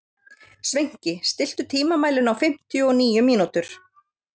Sveinki, stilltu tímamælinn á fimmtíu og níu mínútur.